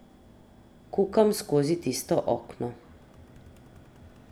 Kukam skozi tisto okno.